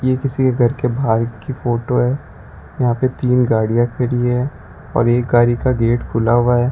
ये किसी के घर के बाहर की फोटो है यहां पे तीन गाड़ियां खड़ी है और एक गाड़ी का गेट खुला हुआ है।